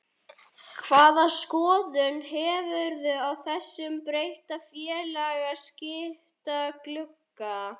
Hvaða skoðun hefurðu á þessum breytta félagaskiptaglugga?